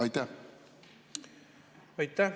Aitäh!